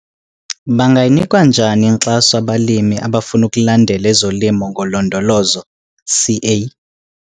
Bangayinikwa njani inkxaso abalimi abafuna ukulandela ezoLimo ngoLondolozo, CA?